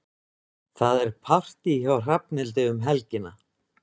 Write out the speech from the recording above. Það er partí hjá Hrafnhildi um helgina.